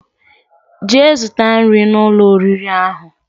Jee zuta nri na Ụlọ oriri ahu